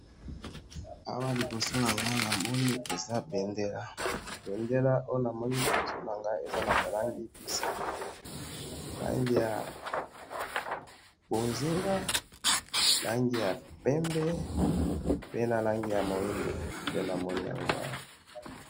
awa liboso nangayi namoni eza bendela bendela oyo namoni na liboso nangayi eza naba langi misatu langi ya mbonzinga langi ya pembe na langi ya mwindu nde namomi awa